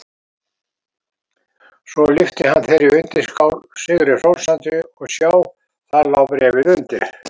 Svo lyfti hann þeirri undirskál sigri hrósandi og sjá: Þar lá bréfið undir!